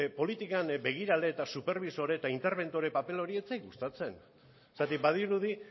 politikan begirale eta superbisore eta interbentore paper hori ez zait gustatzen zergatik badirudi